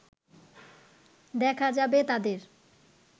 দেখা যাবে তাদের